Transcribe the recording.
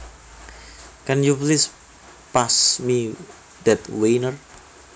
Can you please pass me that wiener